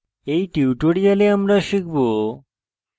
in tutorial আমরা শিখব;